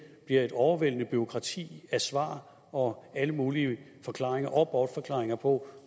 bliver et overvældende bureaukrati af svar og alle mulige forklaringer og bortforklaringer på